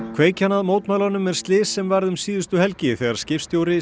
kveikjan að mótmælunum er slys sem varð um síðustu helgi þegar skipstjóri